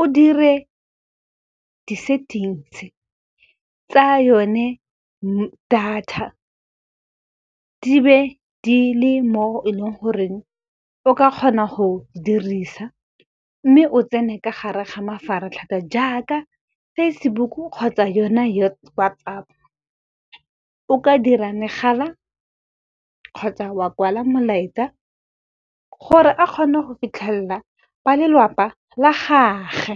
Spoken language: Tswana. o dire di-settings tsa yone data, di be di le mo e leng goreng o ka kgona go dirisa. Mme o tsene ka gare ga mafaratlhatlha jaaka Facebook kgotsa yona WhatsApp. O ka dira megala kgotsa wa kwala molaetsa, gore a kgone go fitlhelela ba lelapa la gage.